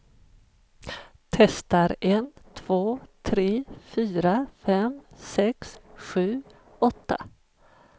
Testar en två tre fyra fem sex sju åtta.